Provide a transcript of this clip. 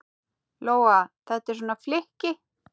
Lóa: Þetta er svona flykki?